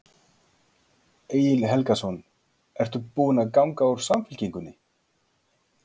Egil Helgason: Ertu búin að ganga úr Samfylkingunni?